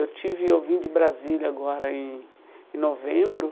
Eu tive eu vim de Brasília agora em em novembro eh...